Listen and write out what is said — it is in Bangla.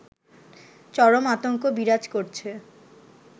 চরম আতঙ্ক বিরাজ করছে